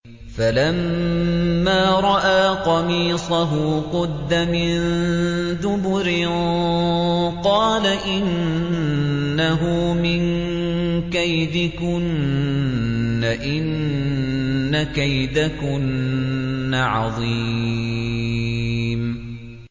فَلَمَّا رَأَىٰ قَمِيصَهُ قُدَّ مِن دُبُرٍ قَالَ إِنَّهُ مِن كَيْدِكُنَّ ۖ إِنَّ كَيْدَكُنَّ عَظِيمٌ